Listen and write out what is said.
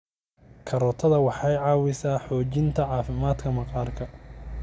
Karootiga waxay caawisaa xoojinta caafimaadka maqaarka.